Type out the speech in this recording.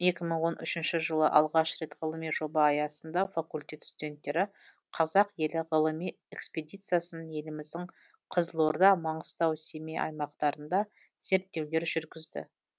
екі мың он үшінші жылы алғаш рет ғылыми жоба аясында факультет студенттері қазақ елі ғылыми экспедициясын еліміздің қызылорда маңғыстау семей аймақтарында зерттеулер жүргізді